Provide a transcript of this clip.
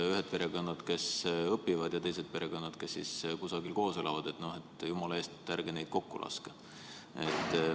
Ühed perekonnad on need, kes õpivad, ja teised perekonnad on need, kes kusagil koos elavad, ja jumala eest, ärge neid kokku laske.